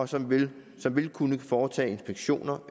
som vil som vil kunne foretage inspektioner